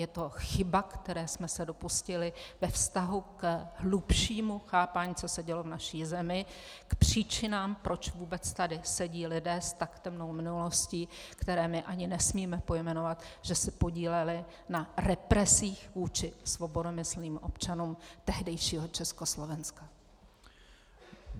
Je to chyba, které jsme se dopustili ve vztahu k hlubšímu chápání, co se dělo v naší zemi, k příčinám, proč vůbec tady sedí lidé s tak temnou minulostí, které my ani nesmíme pojmenovat, že se podíleli na represích vůči svobodomyslným občanům tehdejšího Československa.